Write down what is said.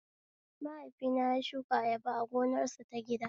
Mahaifina ya shuka ayaba a gonarsa ta gida